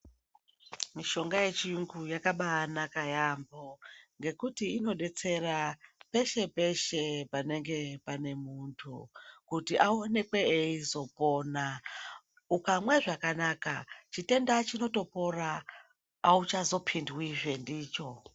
Mishonga yechirungu yakabanaka yambo ngekuti inodetsera peshe peshe panenge pane muntu kuti aonekwe eizopona ukamwa zvakanaka chitenda chinotopora auchazopindwi zvendicho.